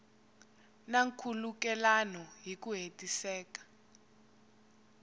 na nkhulukelano hi ku hetiseka